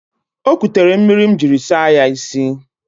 O ekutere mmiri m jiri saa ya isi.